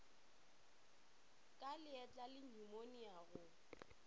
ka leatla le nyumonia go